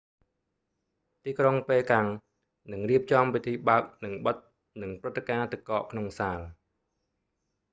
ទីក្រុងប៉េកាំង នឹងរៀបចំពិធីបើកនិងបិទ និងព្រឹត្តិការណ៍ទឹកកកក្នុងសាល